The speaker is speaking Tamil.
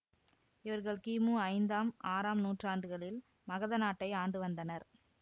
இவர்கள் கிமு ஐந்தாம் ஆறாம் நூற்றாண்டுகளில் மகத நாட்டை ஆண்டுவந்தனர்